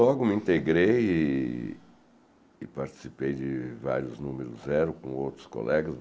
Logo me integrei e e participei de vários Número Zero com outros colegas.